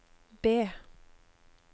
B